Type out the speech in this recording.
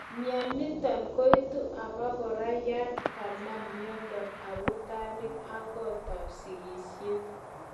Mioniton koitu obokora yon kanam miondo abutanik ak kotab sikisiet.